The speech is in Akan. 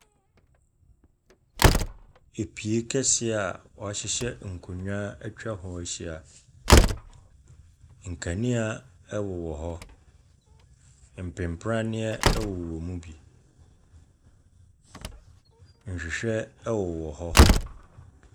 Apue kɛse a w'ahyehyɛ nkonwa etwa ho ahyia. Nkanea ɛwowɔ hɔ. Mpimpraneɛ ɛwo wom bi. Nhwehwɛ ɛwowɔ hɔ.